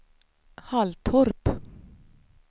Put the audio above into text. Halltorp